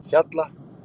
Hjalla